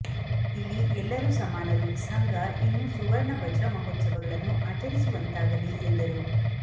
ಇಲ್ಲಿ ಎಲ್ಲರೂ ಸಮಾನರು ಸಂಘ ಇನ್ನೂ ಸುವರ್ಣ ವಜ್ರ ಮಹೋತ್ಸವಗಳನ್ನು ಆಚರಿಸುವಂತಾಗಲಿ ಎಂದರು